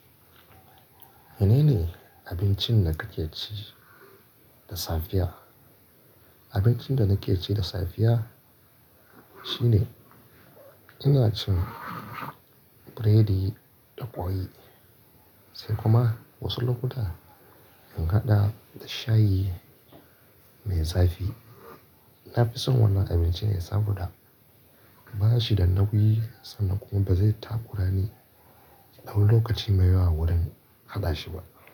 Menene abincin da kake ci da safiya? Abincin da nake ci da safiya shine ina cin burodi da ƙwai, sai kuma wasu lokuta in haɗa da shayi mai zafi. Na fi son wannan abinci ne saboda ba shi da nauyi sannan kuma ba zai takura ni dau wani lokaci mai yawa wurin haɗashi ba.